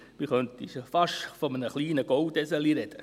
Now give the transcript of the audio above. Man könnte fast von einem kleinen Goldeselchen reden.